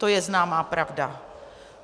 To je známá pravda.